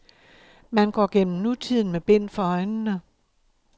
Man går gennem nutiden med bind for øjnene.